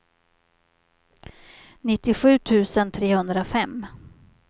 nittiosju tusen trehundrafem